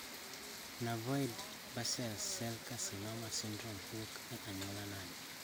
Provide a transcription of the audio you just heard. Nevoid basal cell carcinoma syndrome wuok e anyuola nade